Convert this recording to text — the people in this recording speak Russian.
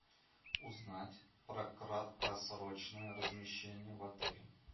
узнать про краткосрочное размещение в отеле